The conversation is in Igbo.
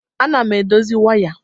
Ana m edozi waya.